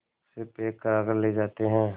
से पैक कराकर ले जाते हैं